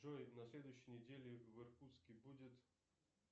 джой на следующей неделе в иркутске будет